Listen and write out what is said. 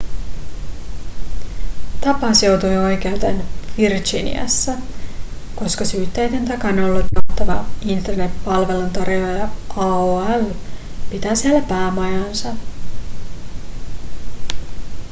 tapaus joutui oikeuteen virginiassa koska syytteiden takana ollut johtava internet-palveluntarjoaja aol pitää siellä päämajaansa